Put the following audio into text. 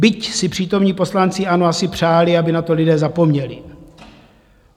Byť si přítomní poslanci ANO asi přáli, aby na to lidé zapomněli.